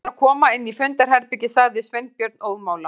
Við skulum bara koma inn í fundarherbergi- sagði Sveinbjörn óðamála.